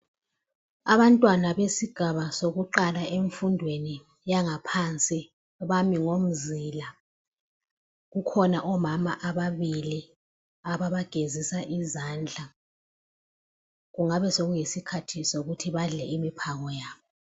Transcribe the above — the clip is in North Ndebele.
Abantwana besigaba sokuqala emfundweni yangaphansi bami ngomzila. Kukhona omama ababili ababagezisa izandla. Kungaba sokuyisikhathi sokuthi badle imiphako yabo.